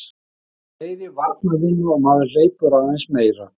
Þetta er meiri varnarvinna og maður hleypur aðeins meira.